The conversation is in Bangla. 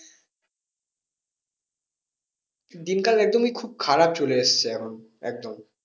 দিনকাল একদমই খুব খারাপ চলে এসছে এখন একদম